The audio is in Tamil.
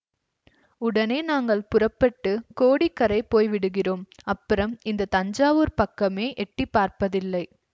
உடனே நாங்கள் புறப்பட்டு கோடிக்கரை போய் விடுகிறோம் அப்புறம் இந்த தஞ்சாவூர்ப் பக்கமே எட்டி பார்ப்பதில்லை